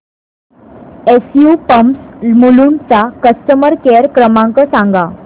SU pumps Mulund चा customer care क्रमांक सांगा